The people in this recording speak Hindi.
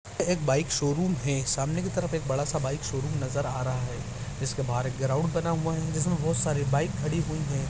एक बाइक शोरूम है सामने की तरफ एक बड़ा-सा बाइक शोरूम नजर आ रहा है जिसके बाहर एक ग्राउंड बना हुआ है जिसमे बोहोत सारी बाइक खड़ी हुई है।